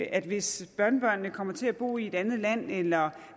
at hvis børnebørnene kommer til at bo i et andet land eller